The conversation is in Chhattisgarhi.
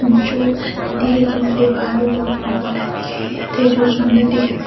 जो नदी के किनारे बालू औ पेड़-पौधे दिखाई देत हे जो सुन्दर दिखत हे।